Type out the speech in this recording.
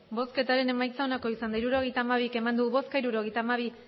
emandako botoak hirurogeita hamabi bai hirurogeita hamabi